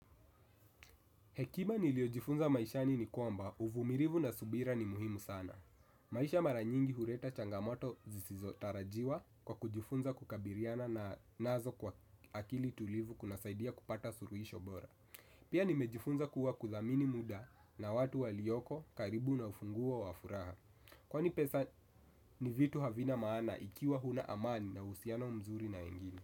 Hekima niliyojifunza maishani ni kwamba, uvumilivu na subira ni muhimu sana. Maisha mara nyingi huleta changamoto zisizo tarajiwa kwa kujifunza kukabiliana na nazo kwa akili tulivu kuna saidia kupata suluhisho bora. Pia nimejifunza kuwa kudhamini muda na watu walioko karibu na ufunguo wa furaha. Kwani pesa ni vitu havina maana ikiwa huna amani na uhusiano mzuri na wengini.